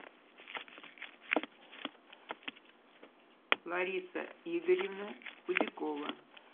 лариса игоревна худякова